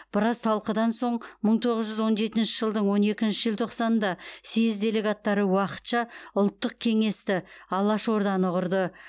біраз талқыдан соң мың тоғыз жүз он жетінші жылдың он екінші желтоқсанында съез делегаттары уақытша ұлттық кеңесті алаш орданы құрды